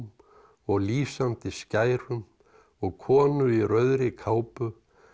og lýsandi skærum og konu í rauðri kápu